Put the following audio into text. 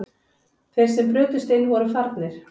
Þeir sem brutust inn voru farnir